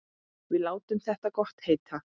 Við látum þetta gott heita.